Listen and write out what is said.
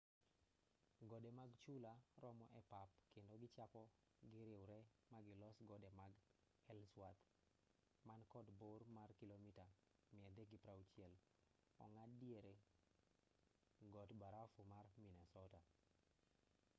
gode mag chula romo e pap kendo kichako giriwre magilos gode mag ellsworth man kod bor mar kilomita 360 ong'ad diere god barafu mar minnesota